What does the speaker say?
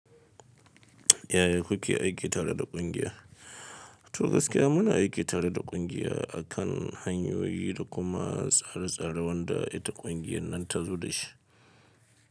Yaya kuke aiki tare da kungiya? To gaskiya muna aiki tare da ƙungiya akan hanyoyi da kuma tsare-tsare wanda ita ƙungiyar nan ta zo da shi.